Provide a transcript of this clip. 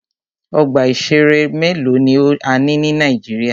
Ọgbà ìṣẹ̀rẹ́ mélòó ni a ní ní Nàíjíríà.